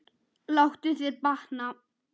Láttu þér batna.